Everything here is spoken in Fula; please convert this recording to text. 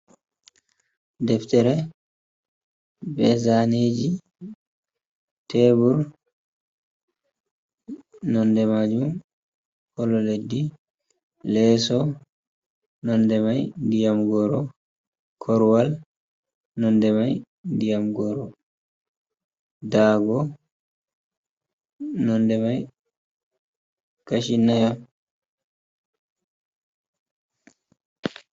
Ɗeftere ɓezaneji tebur nonɗe majum kolo leddi leeso nonɗe mai ɗiyam goro korwal nonɗe mai ɗiyam goro ɗago nonɗe mai kachinaya.